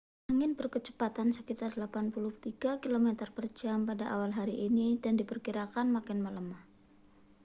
angin berkecepatan sekitar 83 km/jam pada awal hari ini dan diperkirakan makin melemah